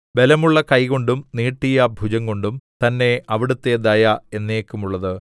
ബലമുള്ള കൈകൊണ്ടും നീട്ടിയ ഭുജംകൊണ്ടും തന്നെ അവിടുത്തെ ദയ എന്നേക്കുമുള്ളത്